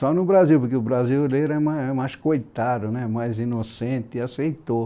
Só no Brasil, porque o brasileiro é mais é mais coitado né, mais inocente, e aceitou.